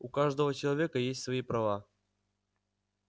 у каждого человека есть свои права